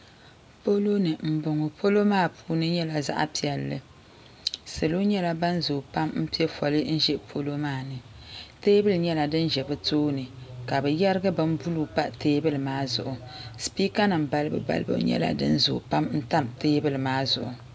Poloni m boŋɔ polo maa puuni nyɛla zaɣa piɛlli salo nyɛla ban zoo pam m piɛ foli n ʒɛ polo maani teebuli nyɛla din ʒɛ bɛ tooni ka bɛ yerigi bin buluu pa teebuli maa zuɣu sipiika nima balibu balibu nyɛla din zoo n tam teebuli maa zuɣu.